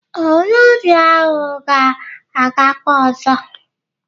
Ee, onye ọrịa ahụ ga-agakwa ọzọ